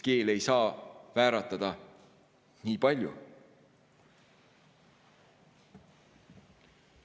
Keel ei saa vääratada nii palju.